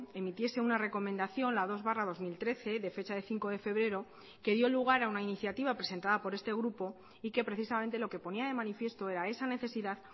emitiese una recomendación la dos barra dos mil trece de fecha de cinco de febrero que dio lugar a una iniciativa presentada por este grupo y que precisamente lo que ponía de manifiesto era esa necesidad